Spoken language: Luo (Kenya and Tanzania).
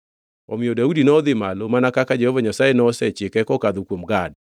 Omiyo Daudi nodhi malo mana kaka Jehova Nyasaye nosechike kokadho kuom Gad.